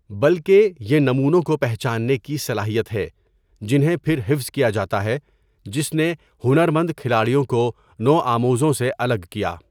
بلکہ، یہ نمونوں کو پہچاننے کی صلاحیت ہے، جنہیں پھر حفظ کیا جاتا ہے، جس نے ہنر مند کھلاڑیوں کو نوآموزوں سے الگ کیا۔